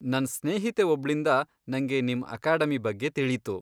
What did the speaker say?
ನನ್ ಸ್ನೇಹಿತೆ ಒಬ್ಳಿಂದ ನಂಗೆ ನಿಮ್ ಅಕಾಡೆಮಿ ಬಗ್ಗೆ ತಿಳೀತು.